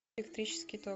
электрический ток